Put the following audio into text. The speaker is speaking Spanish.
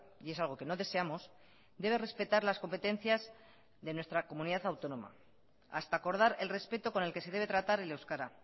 y es algo que no deseamos debe respetar las competencias de nuestra comunidad autónoma hasta acordar el respeto con el que se debe tratar el euskara